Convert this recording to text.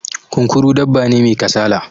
Kunkuru dabba ne mai kasala